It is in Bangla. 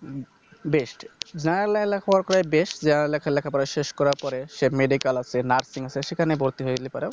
হম Best না লে~ লেখাপড়া করে Best যে আর লেখাপড়া শেষ করার পরে সে Medical আছে Nursing আছে সেখানে ভর্তি হয়ে গেলে পারো